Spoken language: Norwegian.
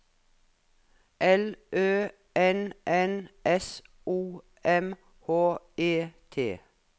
L Ø N N S O M H E T